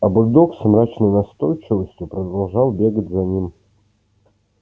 а бульдог с мрачной настойчивостью продолжал бегать за ним